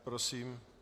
Prosím.